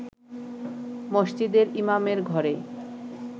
মসজিদের ইমামের ঘরে